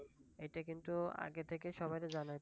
এইটা কিন্তু আগে থেকে সবাইকে যানাতে